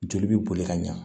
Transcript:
Joli bɛ boli ka ɲa